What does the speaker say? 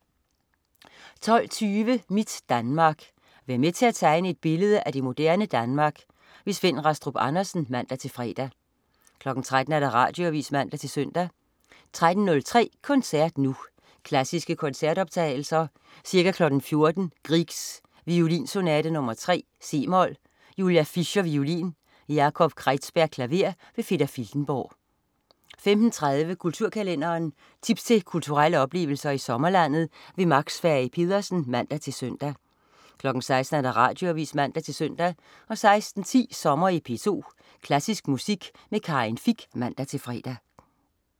12.20 Mit Danmark. Vær med til at tegne et billede af det moderne Danmark. Svend Rastrup Andersen (man-fre) 13.00 Radioavis (man-søn) 13.03 Koncert Nu. Klassiske koncertoptagelser. Ca. 14.00 Grieg: Violinsonate nr. 3, c-mol. Julia Fischer, violin. Yakov Kreizberg, klaver. Peter Filtenborg 15.30 Kulturkalenderen. Tips til kulturelle oplevelser i sommerlandet. Max Fage Pedersen (man-søn) 16.00 Radioavis (man-søn) 16.10 Sommer i P2. Klassisk musik med Karin Fich (man-fre)